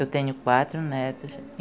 Eu tenho quatro netos.